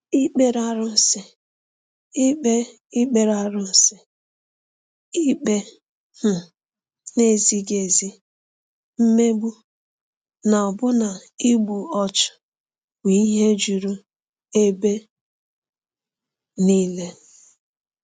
Ikpere arụsị, ikpe Ikpere arụsị, ikpe um na-ezighị ezi, mmegbu, na ọbụna igbu ọchụ bụ ihe juru ebe nile.